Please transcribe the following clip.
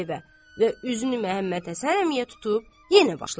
və üzünü Məhəmməd Həsən əmiyə tutub yenə başladı.